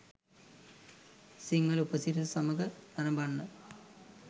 සිංහල උපසිරැස සමඟ නරඹන්න